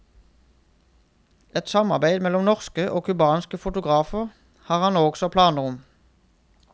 Et samarbeid mellom norske og cubanske fotografer har han også planer om.